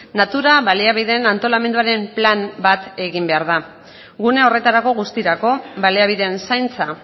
natura baliabideen antolamenduaren plan bat egin behar da gune horretarako guztirako baliabideen zaintza